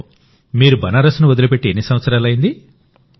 మీరు బనారస్ వదిలిపెట్టి ఎన్ని సంవత్సరాలైంది